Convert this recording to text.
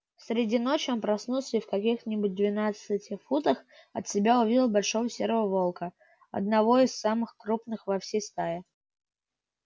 среди ночи он проснулся и в каких нибудь двенадцати футах от себя увидел большого серого волка одного из самых крупных во всей стае